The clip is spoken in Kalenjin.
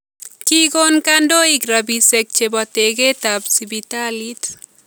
Kikon kantoik rabiisyek chebo tekeetaab sibitaliit